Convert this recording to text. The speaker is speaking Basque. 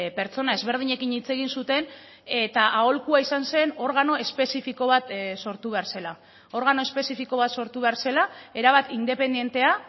pertsona ezberdinekin hitz egin zuten eta aholkua izan zen organo espezifiko bat sortu behar zela organo espezifiko bat sortu behar zela erabat independentea